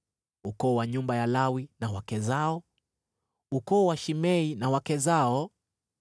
ukoo wa nyumba ya Lawi na wake zao, ukoo wa Shimei na wake zao,